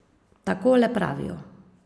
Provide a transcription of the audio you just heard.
Takole pravijo.